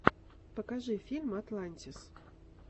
покажи фильм атлантис